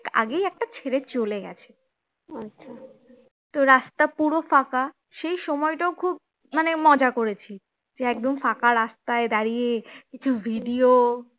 আগেই একটা ছেড়ে চলে গেছে তো রাস্তা পুরো ফাঁকা সেই সময়টাও খুব মজা মানে করেছি একদম ফাঁসা রাস্তায় দাঁড়িয়ে video